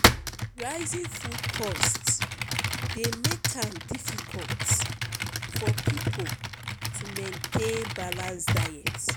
rising food cost dey make am difficult for people to maintain balanced diet.